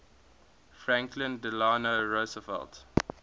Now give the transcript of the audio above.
franklin delano roosevelt